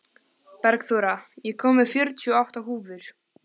Bergþóra, ég kom með fjörutíu og átta húfur!